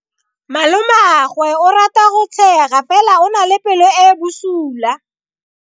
Malomagwe o rata go tshega fela o na le pelo e e bosula.